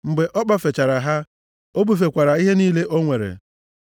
Mgbe ọ kpọfechara ha, o bufekwara ihe niile o nwere.